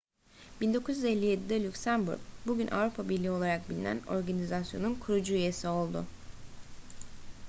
1957'de lüksemburg bugün avrupa birliği olarak bilinen organizasyonun kurucu üyesi oldu